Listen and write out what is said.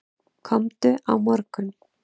Komdu á morgun.